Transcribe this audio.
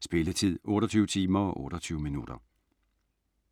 Spilletid: 28 timer, 28 minutter.